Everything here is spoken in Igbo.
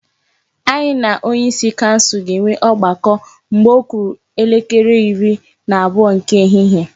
Anyị na onyeisi kansụl ga-enwe ọgbakọ mgbe ọ kụrụ elekere iri na abụọ nke ehihie.